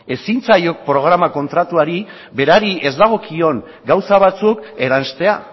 ezin zaio programa kontratuari berari ez dagokion gauza batzuk eranstea